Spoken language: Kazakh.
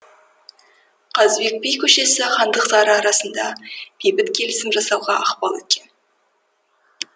қазыбек би көшесі хандықтары арасында бейбіт келісім жасауға ықпал еткен